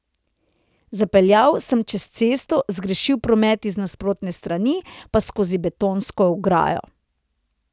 Zapeljal sem čez cesto, zgrešil promet iz nasprotne strani, pa skozi betonsko ograjo.